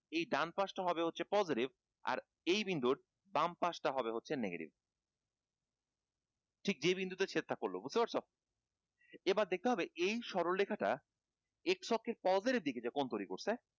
এই ডানপাশ টা হবে হচ্ছে positive আর এই বিন্দুর বাম পাশ টা হবে হচ্ছে negative ঠিক যে বিন্দুতে ছেদ টা পড়লো বুঝতে পারছো এইবার দেখতে হবে এই সরলরেখা টা এই রেখা টা x অক্ষের positive দিকে কোণ তৈরী করছে